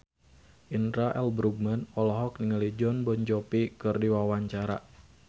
Indra L. Bruggman olohok ningali Jon Bon Jovi keur diwawancara